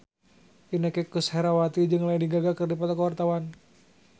Inneke Koesherawati jeung Lady Gaga keur dipoto ku wartawan